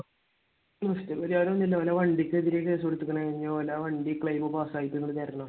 നഷ്ടപരിഹാരം എന്തിനാ? അവന്റെ വണ്ടിക്ക് എതിരെയാണ് case കൊടുത്തേക്കുന്നത്. ഇനി ഓന്റെ വണ്ടിക്ക് claim pass ആയിട്ട് ഇങ്ങോട് തരണം.